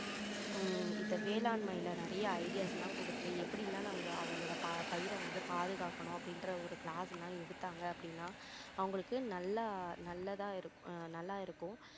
ஹம் இந்த வேலாண்மையில நிறைய ideas லாம் கொடுத்து எப்படி எல்லாம் நம்மளோட அவங்களோட பயிரை வந்து பாதுகாக்கணும் அப்படின்ற ஒரு class லாம் எடுத்தாங்க அப்படின்னா அவங்களுக்கு நல்லா நல்லதா இரு~நல்லா இருக்கும்